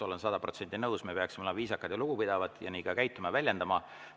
Olen sada protsenti nõus, et me peaksime olema viisakad ja lugupidavad ja nii ka käituma ja väljenduma.